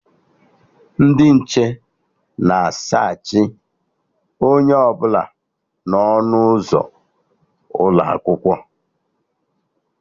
Ndị nche na a saachị onye ọbụla n'ọnụ ụzọ ụlọakwụkwọ